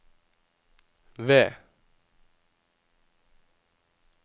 V